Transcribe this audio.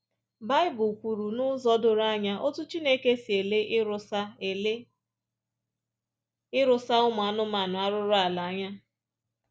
Bible kwuru n’ụzọ doro anya otú Chineke si ele ịrụsa ele ịrụsa ụmụ anụmanụ arụrụala anya